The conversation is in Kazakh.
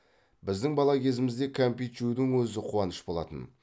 біздің бала кезімізде кәмпит жеудің өзі қуаныш болатын